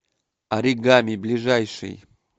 оригами ближайший